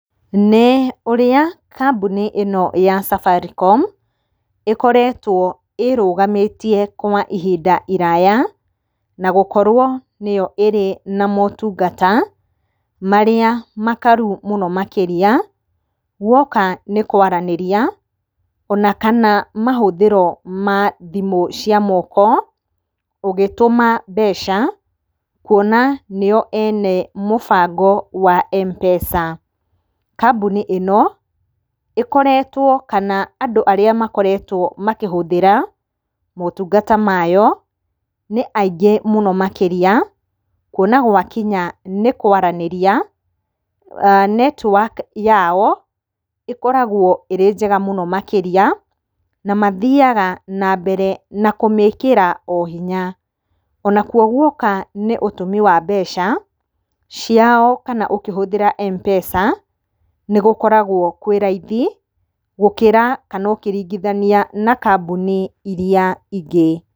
Nĩ ũrĩa kambuni ĩno ya Safaricom ĩkoretwo ĩrũgamĩtie kwa ihinda iraya na gũkorwo nĩyo ĩrĩ na motungata marĩa makaru mũno makĩria. Guoka nĩ kwaranĩria ona kana mahũthĩro ma thimũ cia moko ũgĩtũma mbeca kuona nĩo ene mũbango wa M-pesa. Kambuni ĩno ĩkoretwo kana andũ arĩa makoretwo makĩhũthĩra motungata mayo nĩ aingĩ mũno makĩria. Kuona gwakinya nĩ kwaranĩria network yao ĩkoragwo ĩrĩ njega mũno makĩria na mathiyaga ona mbere na kũmĩkĩra hinya. Nakuo guoka nĩ ũtũmi wa mbeca ciao kana ũkĩhũthĩra m-pesa nĩgũkoragwo kwĩ raithi, gũkĩra kana ũkĩringithania na kambuni iria ingĩ.